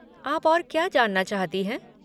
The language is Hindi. आप और क्या जानना चाहती हैं?